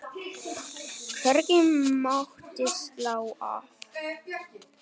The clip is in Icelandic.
Hvergi mátti slá af.